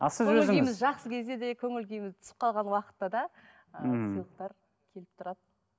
жақсы кезде де көңіл күйіміз түсіп қалған уақытта да ыыы ммм сыйлықтар келіп тұрады